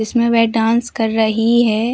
इसमें वह डांस कर रही है।